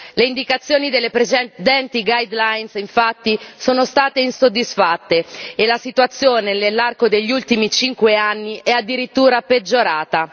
Le indicazioni delle presenti guideline infatti, non sono state soddisfatte e la situazione nell'arco degli ultimi cinque anni è addirittura peggiorata.